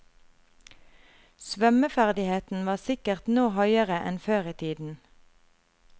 Svømmeferdigheten var sikkert nå høyere enn før i tiden.